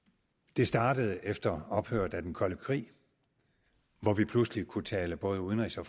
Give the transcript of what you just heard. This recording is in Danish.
det startede efter ophøret af den kolde krig hvor vi pludselig kunne tale både udenrigs og